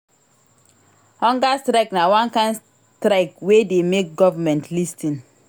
Hunger strike na one kain strike wey dey make government lis ten